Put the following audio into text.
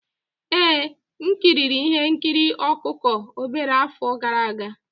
Ee, m ekiri ihe nkiri ọkụkọ obere afọ gara aga.